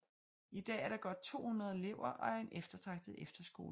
I dag er der godt 200 elever og er en eftertragtet efterskole